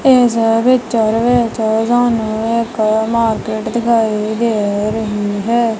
ਇਸ ਪਿੱਚਰ ਵਿੱਚ ਸਾਨੂੰ ਇੱਕ ਮਾਰਕੀਟ ਦਿਖਾਈ ਦੇ ਰਹੀ ਹੈ।